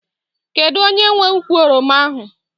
Kedu onye nwe ukwu oroma ahụ?